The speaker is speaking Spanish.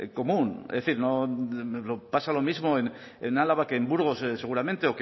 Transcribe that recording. común es decir no pasa lo mismo en álava que en burgos seguramente